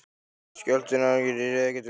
Skjálftinn ágerðist og ég réð ekkert við hann.